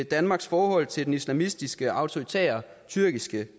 danmarks forhold til den islamistiske autoritære tyrkiske